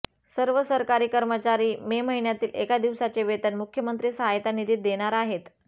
सर्व सरकारी कर्मचारी मे महिन्यातील एका दिवसाचे वेतन मुख्यमंत्री सहायता निधीत देणार आहेत